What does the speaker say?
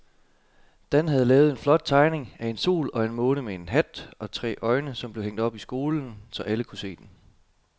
Dan havde lavet en flot tegning af en sol og en måne med hat og tre øjne, som blev hængt op i skolen, så alle kunne se den.